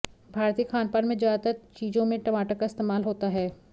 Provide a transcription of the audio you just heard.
भारतीय खानपान में ज्यादातर चीजों में टमाटर का इस्तेमाल होता है